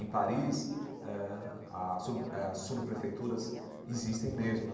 Em Paris, eh a sub eh as subprefeituras existem mesmo.